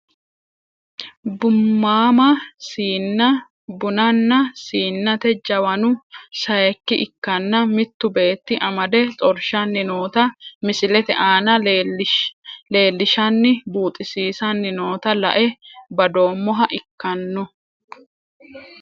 Bummama siina bunana siinate jawanu sayiiki ikkanna mittu beeti amade xorshani noota misilete aana lelishani buuxisisani noota la`e badoomoha ikkano.